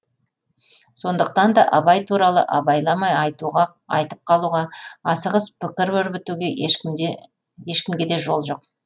сондықтан да абай туралы абайламай айтып қалуға асығыс пікір өрбітуге ешкімге де жол жоқ